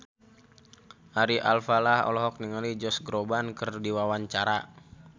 Ari Alfalah olohok ningali Josh Groban keur diwawancara